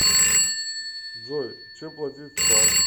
джой чем платить в цар